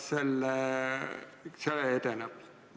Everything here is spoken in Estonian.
... see edeneb.